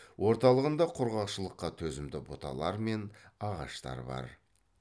орталығында құрғақшылыққа төзімді бұталар мен ағаштар бар